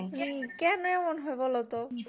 হু কেন এমন হয় বোলো তো?